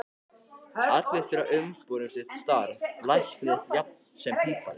Allir þurfa umbúðir um sitt starf, læknir jafnt sem pípari.